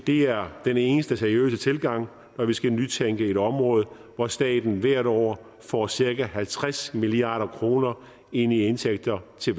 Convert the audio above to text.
det er den eneste seriøse tilgang når vi skal nytænke et område hvor staten hvert år får cirka halvtreds milliard kroner ind i indtægter til